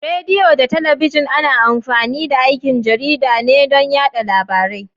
Rediyo da talabijin ana amfani da aikin jarida ne don yada labarai.